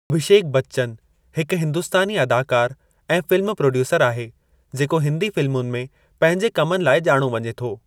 अभिषेक बच्चन हिकु हिंदुस्तानी अदाकारु ऐं फिल्म प्रोड्यूसरु आहे, जेको हिंदी फ़िलमुनि में पंहिंजे कमनि लाइ ॼाणो वञे थो।